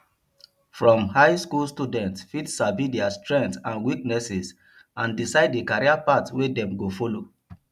from high school students fit sabi their strength and weaknesses and decide the career path wey dem go follow